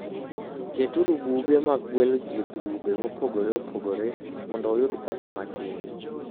Keturu buge mag gwelo ji e grube mopogore opogore mondo uyud pesa matin.